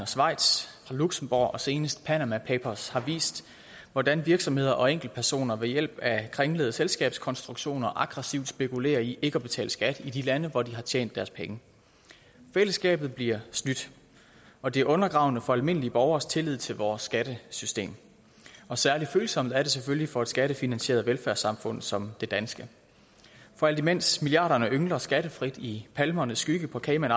schweiz fra luxembourg og senest panama papers har vist hvordan virksomheder og enkeltpersoner ved hjælp af kringlede selskabskonstruktioner aggressivt spekulerer i ikke at betale skat i de lande hvor de har tjent deres penge fællesskabet bliver snydt og det er undergravende for almindelige borgeres tillid til vores skattesystem og særlig følsomt er det selvfølgelig for et skattefinansieret velfærdssamfund som det danske for alt imens milliarderne yngler skattefrit i palmernes skygge på cayman